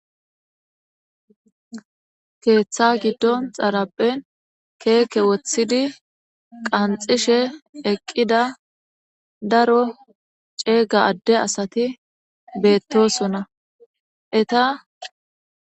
Keeththa giddon keeke woththidi qanxishe eqqida daro ceega adde asati beetosona. Eta..